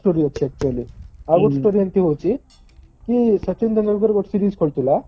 ବହୁତ story ଅଛି actually ଆଉ ଗୋଟେ story ଏମିତି ହଉଛି କି ସଚିନ ତେନ୍ଦୁଲକର ଗୋଟେ series କରୁଥିଲା